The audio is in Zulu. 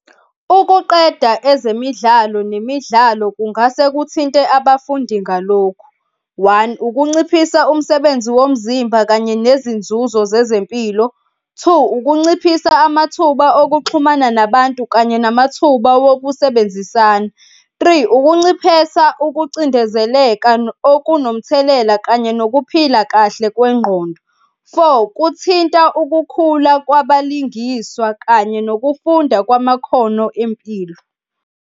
Ukuqeda ezemidlalo nemidlalo kungase kuthinte abafundi ngalokhu, one, ukunciphisa umsebenzi womzimba kanye nezinzuzo zezempilo. Two, ukunciphisa amathuba okuxhumana nabantu kanye namathuba wokusebenzisana. Three, ukunciphesa ukucindezeleka okunomthelela kanye nokuphila kahle kwengqondo. Four, kuthinta ukukhula kwabalingiswa kanye nokufunda kwamakhono empilo.